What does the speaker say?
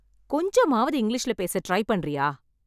கொஞ்சமாவது இங்கிலீஷ்ல பேச ட்ரை பண்றியா?